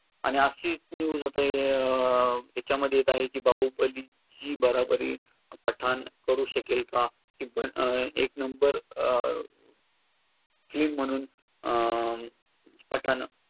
आणि अशी news आता अं याच्यामध्ये येत आहे की बाहुबलीची बराबरी पठाण करू शकेल का? की अं एक नंबर अं film म्हणून अं पठाण